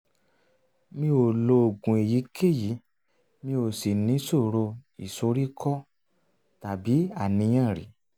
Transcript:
mi ò lo oògùn èyíkéyìí mi ò sì níṣòro ìsoríkọ́ tàbí àníyàn rí